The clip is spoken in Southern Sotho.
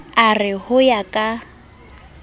a re ho ya ka